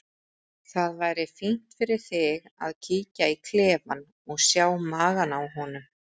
Það væri fínt fyrir þig að kíkja í klefann og sjá magann á honum,